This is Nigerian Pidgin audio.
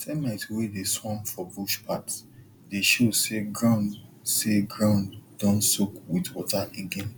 termite wey dey swarm for bush path dey show say ground say ground don soak with water again